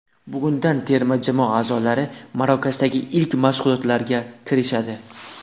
Bugundan terma jamoa a’zolari Marokashdagi ilk mashg‘ulotlarga kirishadi.